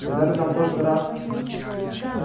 а когда ты там в прошлый раз